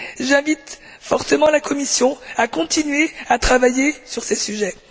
J'invite fortement la Commission à continuer à travailler sur ces sujets.